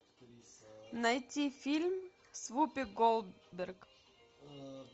найти фильм с вупи голдберг